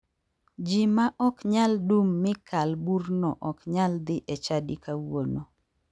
Ji ma ok nyal dum mi kal burno ok nyal dhi e chadi kawuono.